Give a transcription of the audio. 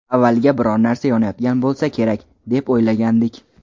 Avvaliga biron narsa yonayotgan bo‘lsa kerak, deb o‘yladik.